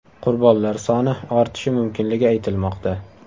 Qurbonlar soni ortishi mumkinligi aytilmoqda.